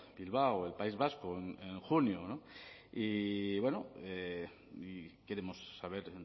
bilbao el país vasco en junio y bueno y queremos saber